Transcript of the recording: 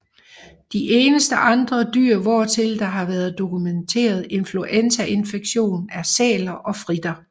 De eneste andre dyr hvortil der har været dokumenteret influenzainfektion er sæler og fritter